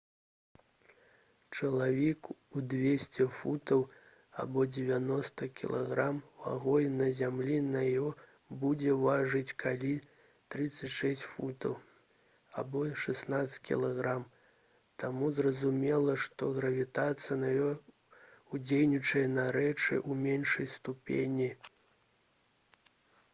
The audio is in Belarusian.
чалавек у 200 фунтаў або 90 кг вагой на зямлі на іо будзе важыць каля 36 фунтаў або 16 кг. таму зразумела што гравітацыя на іо ўздзейнічае на рэчы ў меншай ступені